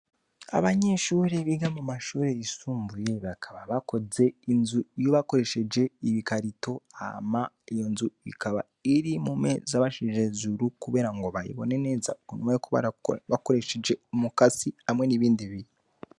Abanyeshuri biga mu mashuri risumbuye bakaba bakoze inzu iyo bakoresheje ibikarito ama iyo nzu ikaba iri mu meza bashishjejuru, kubera ngo bayibone neza ukunuma yuko bakoresheje umukasi hamwe n'ibindi biru.